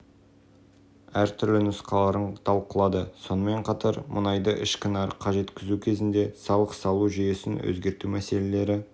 нарығын мемлекеттік реттеуді жетілдіру бөлігінде мәжіліс қатысушылары мұнайды ішкі және экспорттық жеткізу бойынша таза құнын есептеудің